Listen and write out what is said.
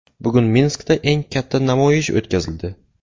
Bugun Minskda eng katta namoyish o‘tkazildi .